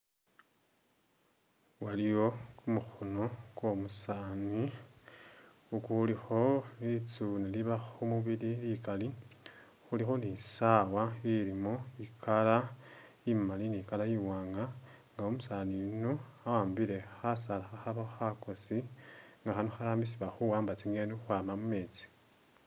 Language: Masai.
Waliyo kumukhoono kwomusaani kukulikho litsuune liliba khumubili likali khulikho ni saawa ilimo i'color imali ni color i'waanga nga umusaani yuno awambile khasaala khakhabakho khakoosi nga khano kharambisibwa khuwamba tsi'ngeni khukhwama mumeetsi